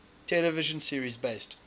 television series based